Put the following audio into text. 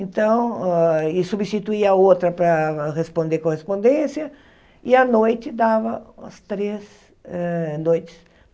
Então hã, e substituía a outra para responder correspondência, e à noite dava umas três hã noites.